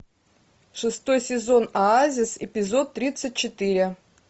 шестой сезон оазис эпизод тридцать четыре